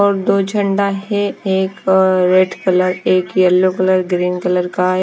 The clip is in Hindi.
और दो झंडा है। एक रेड कलर एक येलो कलर ग्रीन कलर का--